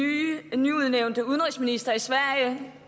nyudnævnte socialdemokratiske udenrigsminister i sverige